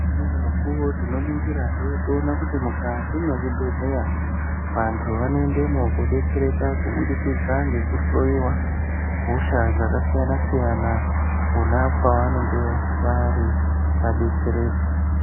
Neumweni mukuvo tinoningirahe toona kuti mukati mwezvibhedhleya vantu vanoendemwo kobetsereka kubudikidza ngekuhloiwa hosha dzakasiyana-siyana, pona pavanenge vari vabetsereke.